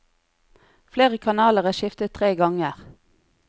Flere kanaler er skiftet tre ganger.